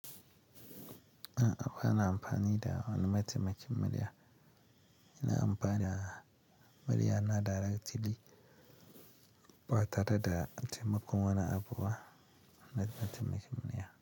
A'a ba na amfani da wani mataimakin murya. Ina amfani da murya na direct ly, ba tare da taimakon wani abubuwa na mataimakin murya.